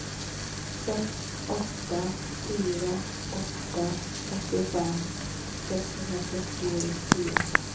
sex åtta fyra åtta åttiofem sexhundrafyrtiofyra